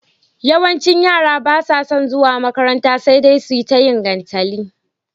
yawancin yara basa zuwa makaranta sedai suyi tayin gantali